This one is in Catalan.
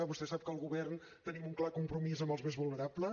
vostè sap que el govern tenim un clar compromís amb els més vulnerables